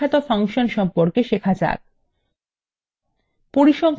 এখন আসুন পরিসংখ্যাত সম্পর্কে শেখা যাক